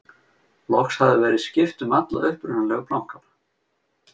Loks hafði verið skipt um alla upprunalegu plankana.